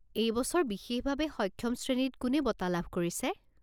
এই বছৰ বিশেষভাৱে সক্ষম শ্ৰেণীত কোনে বঁটা লাভ কৰিছে?